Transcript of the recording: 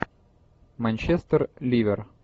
манчестер ливер